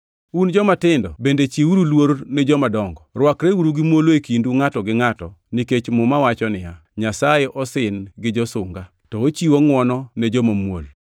Un jomatindo bende chiwuru luor ni jomadongo. Rwakreuru gi muolo e kindu ngʼato gi ngʼato, nikech Muma wacho niya, “Nyasaye osin gi josunga to ochiwo ngʼwono ne joma muol.” + 5:5 \+xt Nge 3:34\+xt*